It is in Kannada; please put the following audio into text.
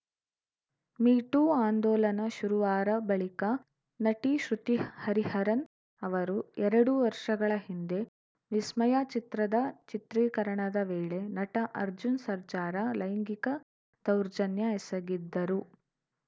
ಮೀ ಟೂ ಆಂದೋಲನ ಶುರುವಾರ ಬಳಿಕ ನಟಿ ಶ್ರುತಿ ಹರಿಹರನ್‌ ಅವರು ಎರಡು ವರ್ಷಗಳ ಹಿಂದೆ ವಿಸ್ಮಯ ಚಿತ್ರದ ಚಿತ್ರೀಕರಣದ ವೇಳೆ ನಟ ಅರ್ಜುನ್‌ ಸರ್ಜಾರ ಲೈಂಗಿಕ ದೌರ್ಜನ್ಯ ಎಸಗಿದ್ದರು